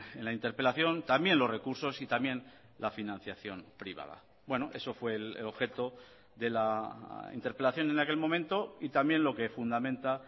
en la interpelación también los recursos y también la financiación privada bueno eso fue el objeto de la interpelación en aquel momento y también lo que fundamenta